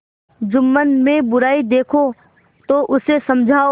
जुम्मन में बुराई देखो तो उसे समझाओ